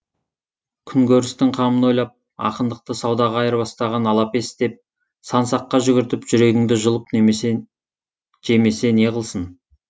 күн көрістің қамын ойлап ақындықты саудаға айырбастаған алапес деп сан саққа жүгіртіп жүрегіңді жұлып жемесе неғылсын